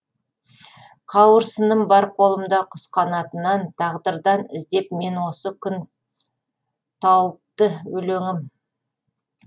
қауырсыным бар қолымда құс қанатынан тағдырдан іздеп мен осы күн тауыпты өлеңім